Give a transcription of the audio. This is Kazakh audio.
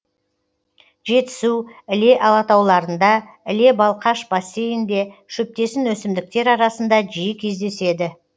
жетісу іле алатауларында іле балқаш бассейінде шөптесін өсімдіктер арасында жиі кездеседі